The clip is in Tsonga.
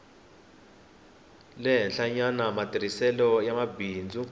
le henhlanyana matirhiselo ya mimbangu